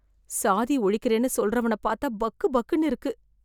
சாதி ஒழிக்கறேன்னு சொல்றவன் பாத்தா பக்கு பக்குனு இருக்கு